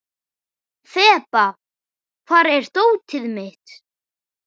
Þeba, hvar er dótið mitt?